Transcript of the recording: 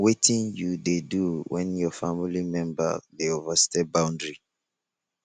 wetin you dey do when your family member dey overstep boundary